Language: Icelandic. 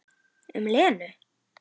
Um Lenu?